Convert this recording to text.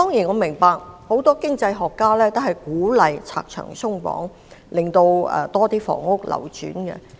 我明白很多經濟學家均鼓勵拆牆鬆綁，讓更多房屋流轉。